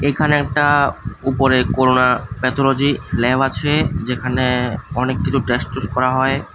এখানে একটা উপরে করুণা প্যাথলজি ল্যাব আছে যেখানে অনেক কিছু টেস্ট টুস করা হয়।